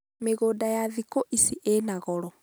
mĩgũnda ya thĩkũ ici ĩna goro